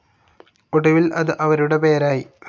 ഒടുവിൽ അത് അവരുടെ പേരായി.